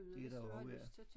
Det er der jo også ja